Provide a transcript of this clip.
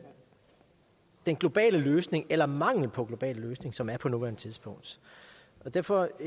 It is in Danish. globale løsning eller mangel på global løsning som der er på nuværende tidspunkt derfor